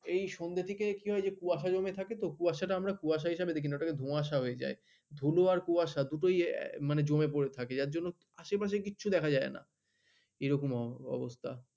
এই সন্ধ্যা থেকে কি হয় যে কুয়াশা জমে থাকে তো কুয়াশাকে আমরা কুয়াশা হিসেবে দেখি না ওটাকে ধোঁয়াশা হয়ে যায়, ধুলো আর কুয়াশা মানে দুটোই জমে পড়ে থাকে যার জন্য আশেপাশে কিছু দেখা যায় না। এরকম অবস্থা।